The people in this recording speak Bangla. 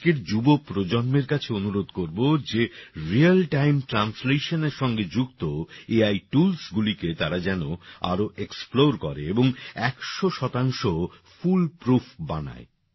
আমি আজকের যুব প্রজন্মের কাছে অনুরোধ করব যে রিয়াল টাইম translationএর সঙ্গে যুক্ত এআই toolsগুলিকে তারা যেন আরও এক্সপ্লোর করে এবং ১০০ ফুল প্রুফ বানায়